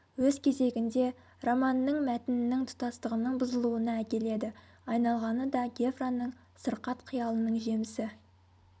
өз кезегінде романның мәтінінің тұтастығының бұзылуына әкеледі айналғаны да гевраның сырқат қиялының жемісі